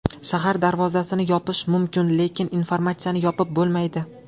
Shahar darvozasini yopish mumkin, lekin informatsiyani yopib bo‘lmaydi.